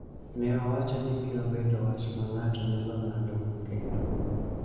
ne owacho ni biro bedo wach ma ng�ato nyalo ng�ado kendo.